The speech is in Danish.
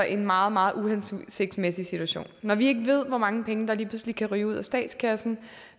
en meget meget uhensigtsmæssig situation når vi ikke ved hvor mange penge der lige pludselig kan ryge ud af statskassen